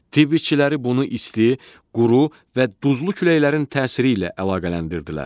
Tibb işçiləri bunu isti, quru və duzlu küləklərin təsiri ilə əlaqələndirdilər.